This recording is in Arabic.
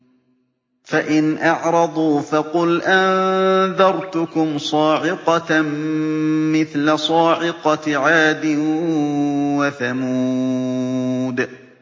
فَإِنْ أَعْرَضُوا فَقُلْ أَنذَرْتُكُمْ صَاعِقَةً مِّثْلَ صَاعِقَةِ عَادٍ وَثَمُودَ